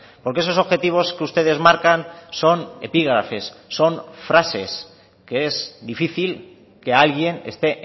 porque esos objetivos que ustedes marcan son epígrafes son frases que es difícil que alguien esté